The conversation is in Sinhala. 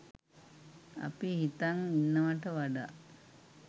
අපි හිතන් ඉන්නවට වඩා